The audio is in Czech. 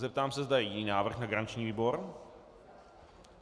Zeptám se, zda je jiný návrh na garanční výbor?